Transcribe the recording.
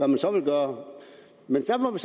man så vil gøre men så må vi